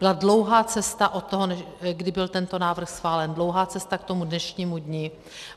Byla dlouhá cesta od toho, kdy byl tento návrh schválen, dlouhá cesta k tomu dnešnímu dni.